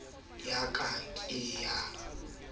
o fa ntlhakemo ya ka